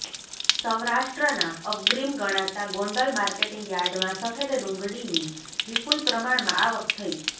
સૌરાષ્ટ્રના અગ્રીમ ગણાતા ગોંડલ માર્કેટિંગ યાર્ડમાં સફેદ ડુંગળીની વિપુલ પ્રમાણમાં આવક થઇ